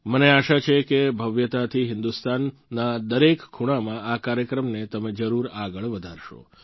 મને આશા છે કે ભવ્યતાથી હિન્દુસ્તાનના દરેક ખૂણામાં આ કાર્યક્રમને તમે જરૂર આગળ વધારશો